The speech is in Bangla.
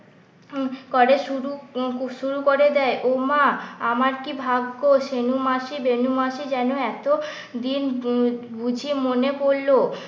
করে শুরু শুরু করে দেয় ওমা আমার কি ভাগ্য ছেনু মাসি বেনু মাসি যেন এতদিন যে বুঝি মনে পড়লো